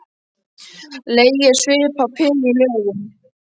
Legið er svipað peru í lögun.